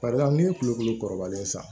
Barisa ne ye kulokolo kɔrɔbalen ye sa